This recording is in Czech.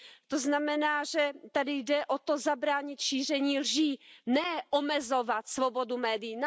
To znamená, že tady jde o to zabránit šíření lží, ne omezovat svobodu médií.